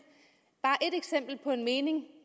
på en mening